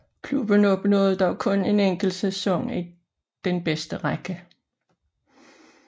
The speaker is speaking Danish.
Klubben opnåede dog kun en enkelt sæson i den bedste række